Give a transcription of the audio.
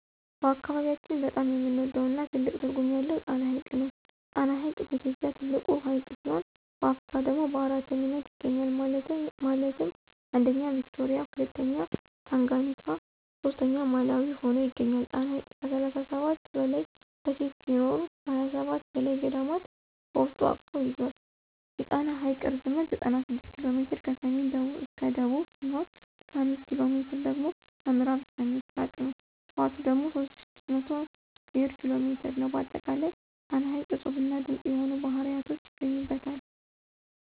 በአካባቢያችን በጣም የምንወደው እና ትልቅ ትርጉም ያለው ጣና ሐይቅ ነው። ጣና ሐይቅ በኢትዮጵያ ትልቁ ሀይቅ ሲሆን በአፍሪካ ደግሞ በአራተኛነት ይገኛል ማለትም 1ኛ ቪክቶሪያ 2ኛ ታንጋኒካ 3ኛ ማላዊ ሁኖ ይገኛል። ጣና ሐይቅ ከ37 በላይ ደሴት ሲኖሩት ከ27 በላይ ገዳማት በውስጡ አቅፎ ይዞል። የጣና ሐይቅ ርዝመት 96 ኪ.ሜ ከሰሜን እስከ ደቡብ ሲሆን 65ኪ.ሜ ደግሞ ከምዕራብ እስከ ምስራቅ ነው። ስፍቱ ደግሞ 3600 ስኩየር ኪ.ሜ ነው። በአጠቃላይ ጣና ሐይቅ እፁብና ድንቅ የሆኑ ባህርያቶች ይገኙበታል።